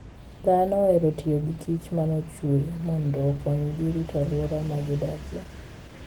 Dhano ohero tiyo gi kich ma nochue mondo okonygi rito alwora ma gidakie.